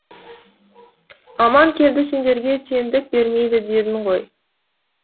аманкелді сендерге теңдік бермейді дедің ғой